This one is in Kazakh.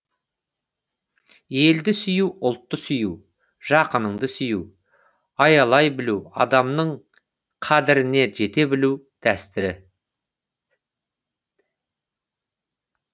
елді сүю ұлтты сүю жақыныңды сүю аялай білу адамның қадіріне жете білу дәрістері